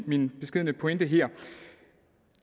min beskedne pointe her